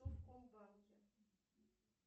совкомбанке